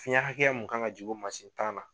Fiyɛn hakɛya mun kan ka jigin o mansin tan na